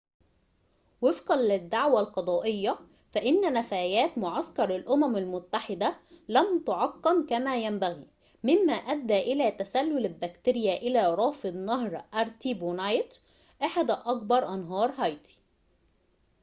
وفقًا للدعوى القضائية فإنّ نفايات معسكر الأمم المتّحدة لم تُعقَّم كما ينبغي ممّا أدّى إلى تسلل البكتيريا إلى رافد نهر أرتيبونايت أحد أكبر أنهار هايتي